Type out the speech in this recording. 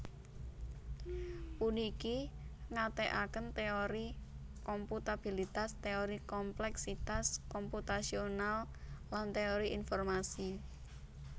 Puniki ngathèkaken téori komputabilitas téori komplèksitas komputasional lan téori informasi